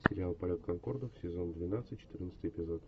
сериал полет конкордов сезон двенадцать четырнадцатый эпизод